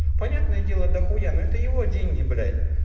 понятное дело до хуя на это его деньги блять